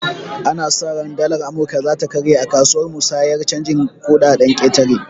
Ana sa ran dalar amurka zata karye akasuwar musayar canjin kuɗaɗen ƙetare